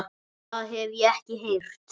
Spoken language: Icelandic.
Það hef ég ekki heyrt.